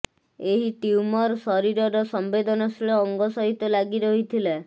ଏହି ଟ୍ୟୁମର ଶରୀରର ସଂବେଦନଶୀଳ ଅଙ୍ଗ ସହିତ ଲାଗି ରହିଥିଲା